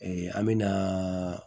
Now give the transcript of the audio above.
an me na